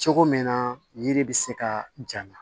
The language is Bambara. Cogo min na yiri bɛ se ka ja